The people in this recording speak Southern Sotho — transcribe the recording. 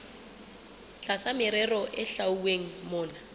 tlasa merero e hlwauweng mona